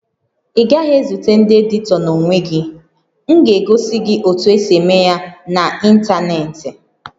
Ị gaghị ezute ndị editọ n'onwe gị, m ga-egosi gị otu esi eme ya n'ịntanetị